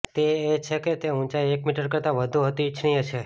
તે એ છે કે તે ઊંચાઈ એક મીટર કરતાં વધુ હતી ઇચ્છનીય છે